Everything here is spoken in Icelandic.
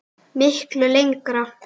Miklu lengra.